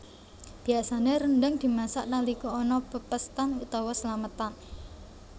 Biasané rendhang dimasak nalika ana pepéstan utawa slametan